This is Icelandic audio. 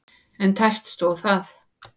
En tæpt stóð það.